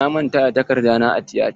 Na manta da takarda na a tiyata.